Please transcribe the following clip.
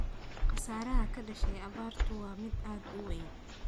Khasaaraha ka dhashay abaartu waa mid aad u weyn.